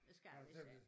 Det skal jeg vist ikke